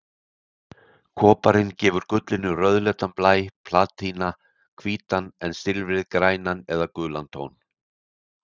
Koparinn gefur gullinu rauðleitan blæ, platínan hvítan en silfrið grænan eða gulan tón.